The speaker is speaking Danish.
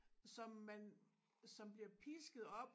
Som man som bliver pisket op